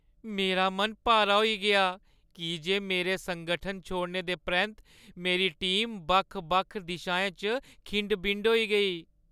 मेरा मन भारा होई गेआ की जे मेरे संगठन छोड़ने दे परैंत्त मेरी टीम बक्ख-बक्ख दिशाएं च खिंड-बिंड होई गेई।